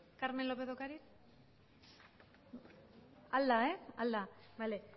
carmen lópez de ocariz ahal da bale